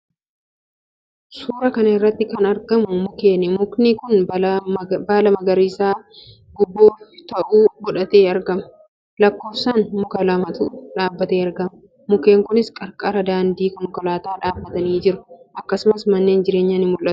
Suuraa kana irratti kan argamu mukkeeni. Mukni kun baala magariisa gobbuu ta'e godhatee argama. Lakkoofsaan muka lamatu dhaabbatee argama. Mukkeen kunis qarqara daandii konkolaataa dhaabbatanii jiru. Akkasumas manneen jireenyaas ni mul'atu.